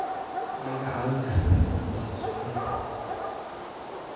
Ma iga caawin kartaa inaan dhaqo suxuunta?